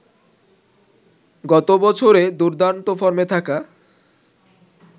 গত বছরে দুর্দান্ত ফর্মে থাকা